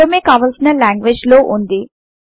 పూర్వమే కావలిసిన లాంగ్వేజ్ లో వుంది